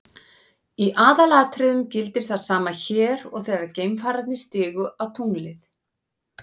Í aðalatriðum gildir það sama hér og þegar geimfararnir stigu á tunglið.